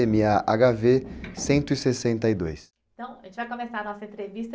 eme-á-agá-vê cento e sessenta e dois.ntão, a gente vai começar a nossa entrevista.